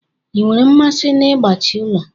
Ị nwere mmasị n'ịgbashi ụlọ?